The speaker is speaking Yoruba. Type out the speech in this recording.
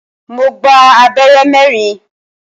Mo gba abẹ́rẹ́ mẹ́rin.